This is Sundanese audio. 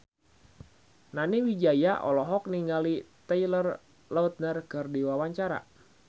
Nani Wijaya olohok ningali Taylor Lautner keur diwawancara